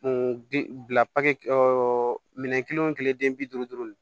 bi bila minɛn kelen o kelen den bi duuru duuru